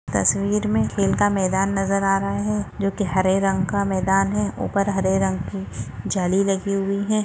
तस्वीर मे खेल का मैदान नज़र आ रहा है जो की हरे रंग का मैदान है ऊपर हरे रंग की जाली लगी हुई है।